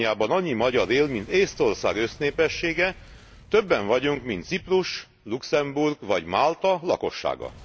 Romániában annyi magyar él, mint Észtország össznépessége, többen vagyunk, mint Ciprus, Luxemburg vagy Málta lakossága.